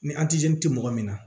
Ni tɛ mɔgɔ min na